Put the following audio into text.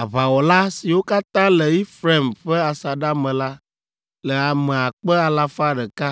Aʋawɔla, siwo katã le Efraim ƒe asaɖa me la le ame akpe alafa ɖeka